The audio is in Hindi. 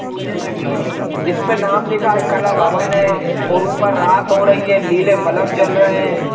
पौधे लगे है इसपे नाम लिखा है कला भवन है और ऊपर रात हो रही है लीले बल्ब जल रहे हैं।